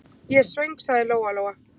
Ég er svöng, sagði Lóa-Lóa.